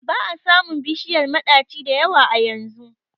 ba a samun bishiyar madaci da yawa a yanzu